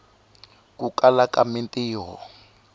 ku kala ka mintiho